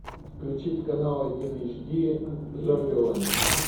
включить канал один эйч ди зомбилэнд